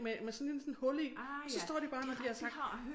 Med med sådan en sådan hul i og så står de bare når de har sagt